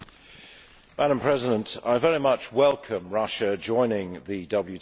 Madam President, I very much welcome Russia joining the WTO.